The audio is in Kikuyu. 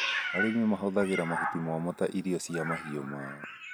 Arĩmi mahũthagĩra mahuti momũ ta irio cia mahiũ mao.